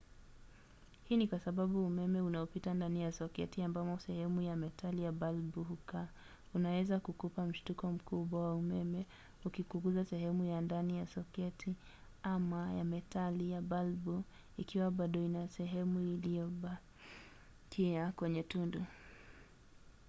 hii ni kwa sababu umeme unaopita ndani ya soketi ambamo sehemu ya metali ya balbu hukaa unaweza kukupa mshtuko mkubwa wa umeme ukikugusa sehemu ya ndani ya soketi ama sehemu ya metali ya balbu ikiwa bado ina sehemu iliyobakia kwenye tundu